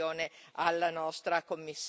alla nostra Commissaria.